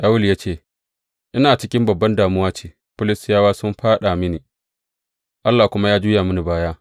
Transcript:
Shawulu ya ce, Ina cikin babban damuwa ce, Filistiyawa sun fāɗa mini, Allah kuma ya juya mini baya.